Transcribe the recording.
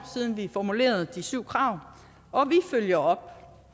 siden vi formulerede de syv krav og vi følger